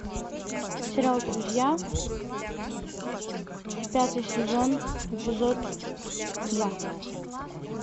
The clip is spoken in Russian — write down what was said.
сериал друзья пятый сезон эпизод два